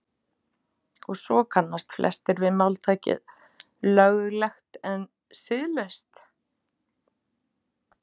Og svo kannast flestir við máltækið löglegt en siðlaust.